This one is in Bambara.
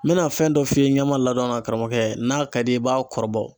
N bɛna fɛn dɔ f'i ye ɲɛma ladonna karamɔgɔkɛ, n'a ka di i ye i b'a kɔrɔbɔ.